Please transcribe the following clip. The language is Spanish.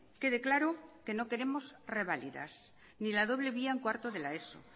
quede claro que no queremos reválidas ni la doble vía en cuarto de la eso